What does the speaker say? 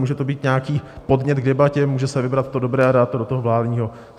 Může to být nějaký podnět k debatě, může se vybrat to dobré a dát to do toho vládního.